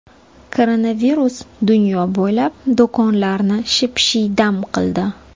Koronavirus dunyo bo‘ylab do‘konlarni ship-shiydam qildi.